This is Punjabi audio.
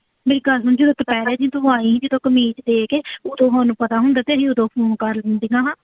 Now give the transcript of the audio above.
ਮੇਰੀ ਦੁਪਿਹਰੇ ਜੇ ਤੂੰ ਆਈਂ ਜਦੋਂ ਕਮੀਜ਼ ਦੇ ਕੇ ਉਦੋਂ ਤੁਹਾਨੂੰ ਪਤਾ ਹੁੰਦਾ, ਕਹਿੰਦੀ ਉਦੋਂ ਫੋਨ ਕਰਲੂੰ